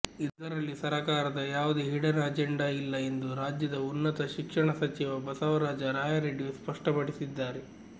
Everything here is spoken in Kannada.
ಇದರಲ್ಲಿ ಸರಕಾರದ ಯಾವುದೇ ಹಿಡನ್ ಅಜೆಂಡಾ ಇಲ್ಲ ಎಂದು ರಾಜ್ಯದ ಉನ್ನತ ಶಿಕ್ಷಣ ಸಚಿವ ಬಸವರಾಜ ರಾಯರೆಡ್ಡಿ ಸ್ಪಷ್ಟಪಡಿಸಿದ್ದಾರೆ